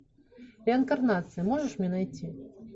реинкарнация можешь мне найти